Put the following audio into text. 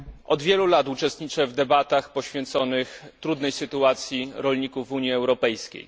Od wielu lat uczestniczę w debatach poświęconych trudnej sytuacji rolników Unii Europejskiej.